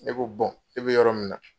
Ne bɛ e bɛ yɔrɔ min na